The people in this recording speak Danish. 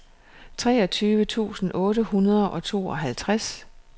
treogtyve tusind otte hundrede og tooghalvtreds